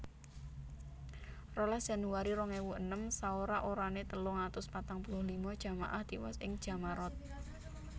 rolas Januari rong ewu enem Saora orané telung atus patang puluh lima jamaah tiwas ing Jammarat